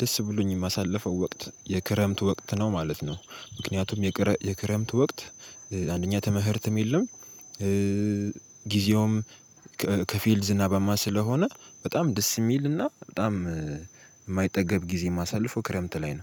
ደስ ብሎኝ የማሳልፈው ወቅት የክረምት ወቅት ነው ማለት ነው። ምክንያቱም የክረምት ወቅት አንደኛ ትምህርትም የለም። ጊዜውም ከፊል ዝናባማ ስለሆነ በጣም ደስ የሚልና በጣም የማይጠገብ ጊዜ የማሳልፈው ክረምት ላይ ነው